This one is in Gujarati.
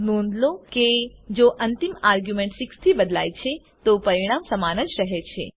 નોંધ લો કે જો અંતિમ આર્ગ્યુંમેન્ટ 6 થી બદલાય છે તો પરિણામ સમાન જ રહે છે